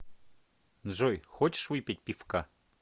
джой хочешь выпить пивка